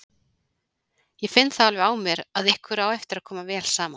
Ég finn það alveg á mér að ykkur á eftir að koma vel saman!